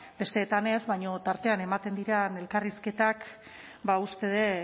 bestetan ez baina tartean ematen diren elkarrizketak ba uste dut